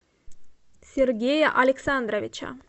сергея александровича